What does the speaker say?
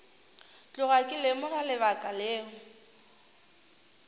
tloga ke lemoga lebaka leo